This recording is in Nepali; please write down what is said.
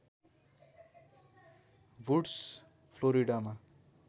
वुड्स फ्लोरिडामा